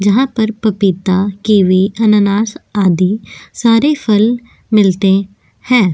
जहां पर पपीता केवी अनानास आदि सारे फल मिलते हैं।